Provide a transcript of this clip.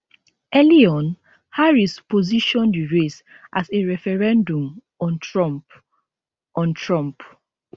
early on harris position di race as a referendum on trump on trump